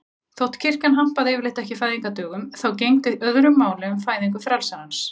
Þótt kirkjan hampaði yfirleitt ekki fæðingardögum þá gegndi öðru máli um fæðingu frelsarans.